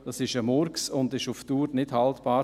Das ist ein Murks und ist auf Dauer nicht haltbar.